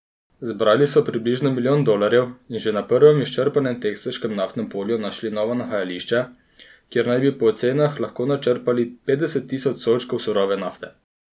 Zbrali so približno milijon dolarjev in že na prvem izčrpanem teksaškem naftnem polju našli novo nahajališče, kjer naj bi po ocenah lahko načrpali petdeset tisoč sodčkov surove nafte.